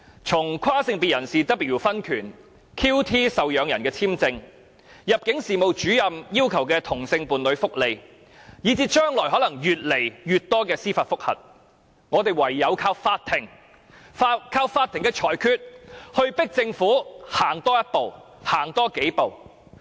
從跨性別人士 W 的婚權案、QT 受養人的簽證案、入境事務主任要求同性伴侶福利案，以至將來可能會有越來越多司法覆核，我們唯有靠法庭的裁決迫使政府行多一步，行多數步。